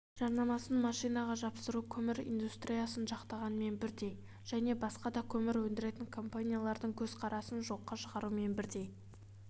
жарнамасын машинаға жапсыру көмір индустриясын жақтағанмен бірдей және басқа да көмір өндіретін компаниялардың көзқарасын жоққа шығарумен бірдей